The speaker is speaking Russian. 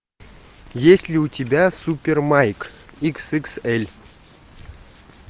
есть ли у тебя супер майк икс икс эль